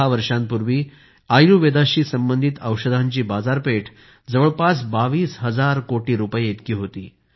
6 वर्षांपूर्वी आयुर्वेदाशी संबंधित औषधांची बाजारपेठ जवळपास 22 हजार कोटी रुपये इतकी होती